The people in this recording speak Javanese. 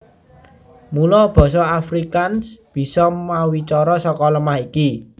Mula basa Afrikaans bisa mawicara saka lemah iki